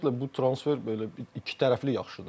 Ümumiyyətlə bu transfer belə iki tərəfli yaxşıdır.